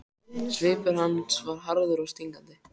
Maður einsog þú kann að gera allt vel.